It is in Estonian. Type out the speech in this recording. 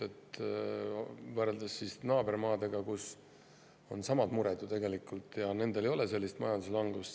Aga kui võrrelda naabermaadega, kus on tegelikult samad mured nendel ei ole sellist majanduslangust.